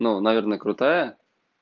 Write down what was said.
ну наверное крутая